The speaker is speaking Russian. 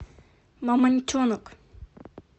мамонтенок